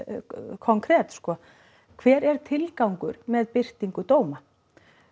konkret sko hver er tilgangur með birtingu dóma